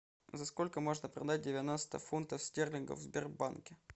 за сколько можно продать девяносто фунтов стерлингов в сбербанке